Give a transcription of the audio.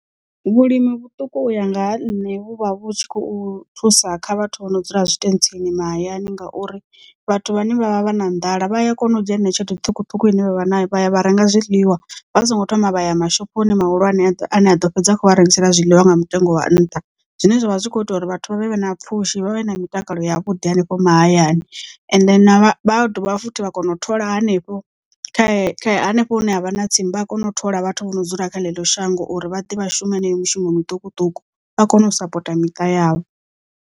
Vhulimi vhuṱuku u ya nga ha nṋe vhu vha vhu tshi khou thusa kha vhathu vho no dzula zwitentsini mahayani ngauri vhathu vhane vha vha vha na nḓala vha ya kona u dzhia heneyo tshelede ṱhukhuṱhukhu ine vha vha vha ya vha renga zwiḽiwa vha songo thoma vha ya mashophoni mahulwane ane a ḓo fhedza kho vha rengisela zwiḽiwa nga mutengo wa nṱha. Zwine zwavha zwi kho ita uri vhathu vha vhe na pfhushi vhavhe na mitakalo ya vhuḓi henefho mahayani and na vha dovha futhi vha kone u thola hanefho kha hanefho hune havha na tsimu vha a kona u thola vhathu vho no dzula kha ḽeḽo shango uri vha ḓe vha shume heneyo mushumo muṱukuṱuku vha kone u sapota miṱa yavho.